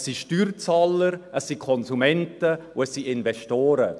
Es sind Steuerzahler, es sind Konsumenten und es sind Investoren.